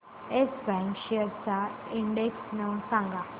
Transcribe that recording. yes Bank shares चा index सांगा